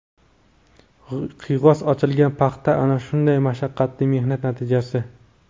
Qiyg‘os ochilgan paxta ana shunday mashaqqatli mehnat natijasi.